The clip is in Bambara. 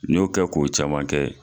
N y'o kɛ ko caman kɛ.